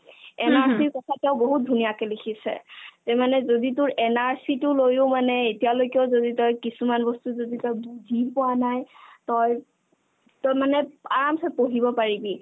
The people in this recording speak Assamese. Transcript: NRC ৰ কথা তেওঁ বহুত ধুনীয়াকে লিখিছে যে মানে যদি তোৰ NRC তো লৈও মানে এতিয়ালৈকে যদি তই কিছুমান বস্তু যদি তই বুজি পোৱা নাই তই তই মানে আৰামছে পঢ়িব পাৰিবি